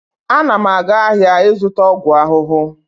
Ana m aga ahịa ịzụta ọgwụ ahụhụ.